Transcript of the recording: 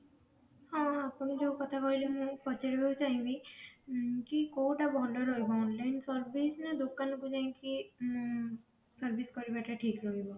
ହଁ ଆପଣ ଯୋଉ କଥା କହିଲେ ମୁଁ ପଚାରିବାକୁ ଚାହିଁ ବି କି କୋଉଟା ଭଲ ରହିବ online service ନା ଦୋକାନକୁ ଯାଇକି ଉଁ service କରିବାଟା ଠିକ ରଖିବ